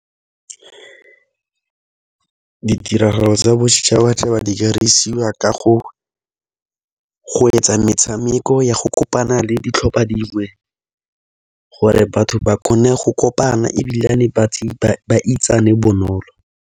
Ditiragalo tsa boditšhabatšhaba di ka dirisiwa ka go etsa metshameko ya go kopana le ditlhopha dingwe, gore batho ba kgone go kopana ebilane ba itsane bonolo.